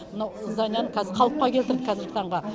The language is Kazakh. мынау зданиені қазір қалыпқа келтірді қазіргі таңға